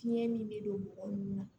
Fiɲɛ min bɛ don mɔgɔ nunun na